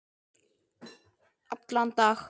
Allan dag?